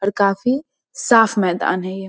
और काफी साफ़ मैदान है ये।